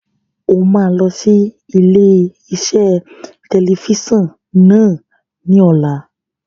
O máa lọ sí ilé-iṣẹ́ tẹlifíṣàn náà ní ọ̀la.